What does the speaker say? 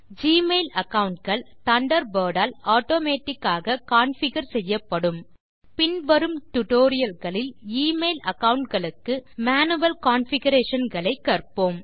Gmail account கள் Thunderbird ஆல் automatic ஆக கான்ஃபிகர் செய்யப்படும் பின் வரும் டியூட்டோரியல் களில் எமெயில் அகாவுண்ட் களுக்கு மேனுவல் கான்ஃபிகரேஷன்ஸ் களை கற்போம்